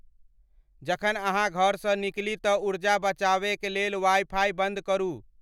जखन अहाँ घर स निकली त ऊर्जा बचाबे क लेल वाइ फाइ बंद करू